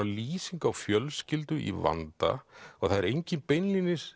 lýsing á fjölskyldu í vanda og enginn beinlínis